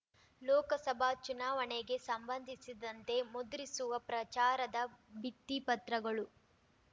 ಲೋಕಸಭಾ ಚುನಾವಣೆಗೆ ಸಂಬಂಧಿಸಿದಂತೆ ಮುದ್ರಿಸುವ ಪ್ರಚಾರದ ಭಿತ್ತಿಪತ್ರಗಳು